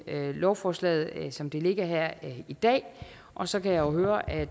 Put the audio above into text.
lovforslaget som det ligger her i dag og så kan jeg jo høre at